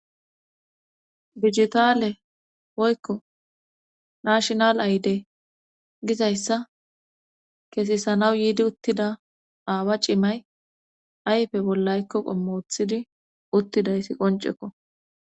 Bijitaale woykko naashnal ayde gizayssa keesisanaw yiidi uttida aawa cimay ayfe bollaykko qommothidi uttidaysi qoncekko